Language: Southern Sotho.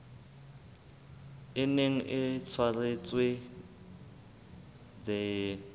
e neng e tshwaretswe the